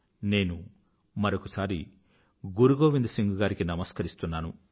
నేను మరొక సారి గురుగోవింద్ సింగ్ గారికి నమస్కరిస్తున్నాను